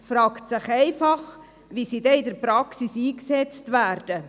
Es fragt sich einfach, wie diese dann in der Praxis eingesetzt werden.